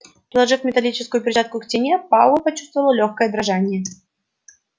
приложив металлическую перчатку к стене пауэлл почувствовал лёгкое дрожание